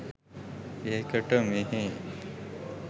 ඒකට මෙහේ